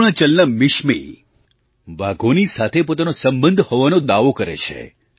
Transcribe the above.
અરુણાચલના મિશમી વાઘોની સાથે પોતાનો સંબંધ હોવાનો દાવો કરે છે